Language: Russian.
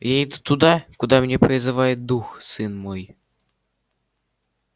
я иду туда куда меня призывает дух сын мой